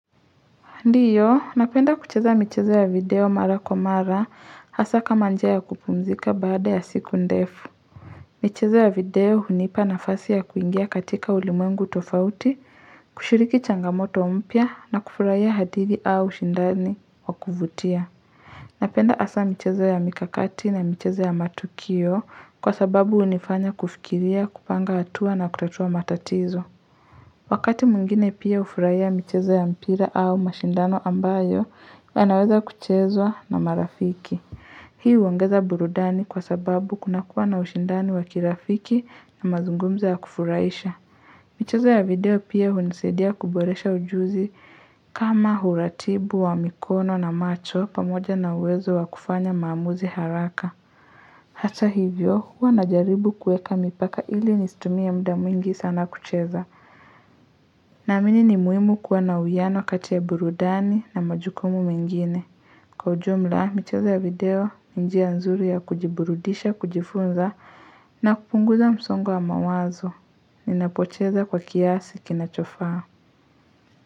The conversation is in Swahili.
Ndiyo, napenda kucheza michezo ya video mara kwa mara hasa kama njia ya kupumzika baada ya siku ndefu. Michezo ya video hunipa nafasi ya kuingia katika ulimwengu tofauti, kushiriki changamoto mpya na kufurahiya hadithi au ushindani wa kuvutia. Napenda hasa michezo ya mikakati na michezo ya matukio kwa sababu hunifanya kufikiria, kupanga hatua na kutatua matatizo. Wakati mwingine pia hufuraiya mchezo ya mpira au mashindano ambayo, yanaweza kuchezwa na marafiki. Hi huongeza burudani kwa sababu kunakuwa na ushindani wa kirafiki na mazungumzo ya kufurahisha. Michezo ya video pia hunisaidia kuboresha ujuzi kama uratibu wa mikono na macho pamoja na uwezo wa kufanya maamuzi haraka. Hata hivyo, huwa najaribu kuweka mipaka ili nistumie muda mwingi sana kucheza. Naamini ni muhimu kuwa na uwiano kati ya burudani na majukumu mengine. Kwa ujumla, michezo ya video, ni njia nzuri ya kujiburudisha, kujifunza, na kupunguza msongo wa mawazo. Ninapocheza kwa kiasi kinachofaa.